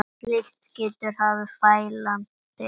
Slíkt getur haft fælandi áhrif.